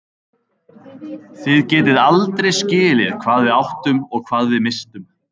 Þið getið aldrei skilið hvað við áttum og hvað við misstum.